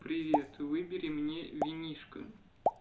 привет выбери мне винишко